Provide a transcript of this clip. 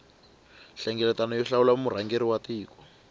nhlengeletano yo hlawula murhangeri wa tiko